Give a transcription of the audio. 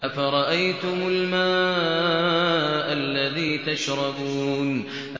أَفَرَأَيْتُمُ الْمَاءَ الَّذِي تَشْرَبُونَ